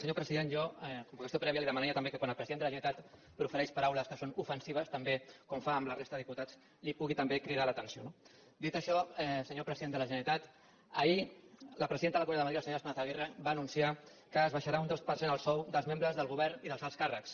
senyor president jo com a qüestió prèvia li demanaria també que quan el president de la generalitat profereix paraules que són ofensives també com fa amb la resta de diputats li pugui també cridar l’atenció no dit això senyor president de la generalitat ahir la presidenta de la comunitat de madrid la senyora esperanza aguirre va anunciar que s’abaixarà un dos per cent el sou dels membres del govern i dels alts càrrecs